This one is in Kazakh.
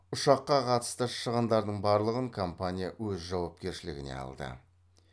ұшыққа қатысты шығындардың барлығын компания өз жауапкершілігіне алды